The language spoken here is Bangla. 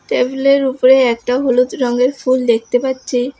টেবিলের উপরে একটা হলুদ রঙের ফুল দেখতে পাচ্ছি।